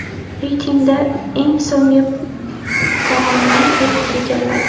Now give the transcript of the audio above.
Reytingda eng so‘nggi pog‘onani Iroq egalladi.